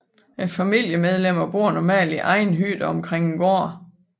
Familiemedlemmerne bor normalt i egne hytter omkring en gård